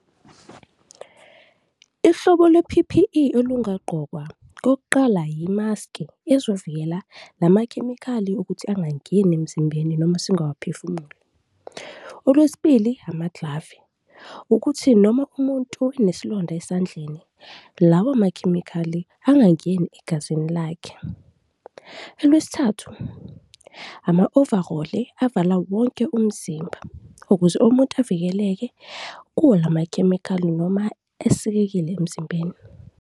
Ihlobo lwe-P_P_E olungagqokwa, kokuqala yimaski ezovikela la makhemikhali ukuthi angangeni emzimbeni noma singawaphefumuli. Olwesibili, amaglavi ukuthi noma umuntu enesilonda esandleni, lawa makhemikhali angangeni egazini lakhe. Olwesithathu, ama-overall-i avala wonke umzimba ukuze umuntu avikeleke kuwo la makhemikhali noma esikekile emzimbeni.